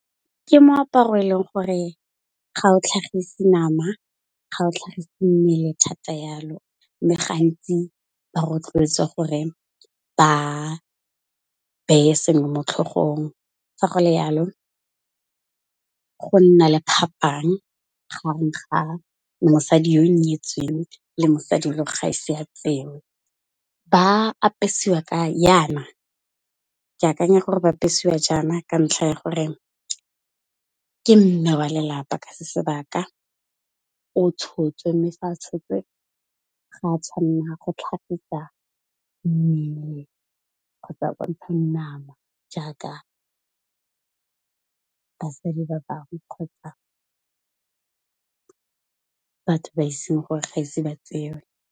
Ke moaparo e leng gore ga o tlhagise nama, ga o tlhagise mmele thata jalo mme gantsi ba rotloetswa gore ba beye sengwe mo tlhogong, fa go le jalo go nna le phapang gareng ga mosadi yo nyetsweng le mosadi e le ga ise ya tsewe. Ke akanya gore bapesiwa jana ka ntlha ya gore ke mme wa lelapa ka se sebaka, o tshotswe mme fa a tshotswe ga a tshwanela go tlhagisa mmele kgotsa a bontsha nama jaaka basadi ba bangwe kgotsa, batho ba iseng gore ga ise ba tsewe.